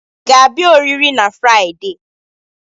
Ị ga-abịa oriri na Fraịde?